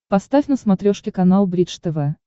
поставь на смотрешке канал бридж тв